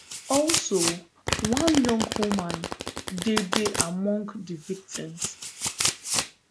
also one young woman dey dey among di victims